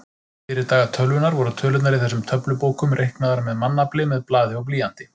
Fyrir daga tölvunnar voru tölurnar í þessum töflubókum reiknaðar með mannafli með blaði og blýanti.